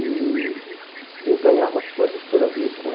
E eu ganhava coisas curiosíssimas.